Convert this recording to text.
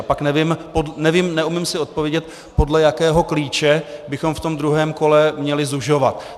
A pak nevím, neumím si odpovědět, podle jakého klíče bychom v tom druhém kole měli zužovat.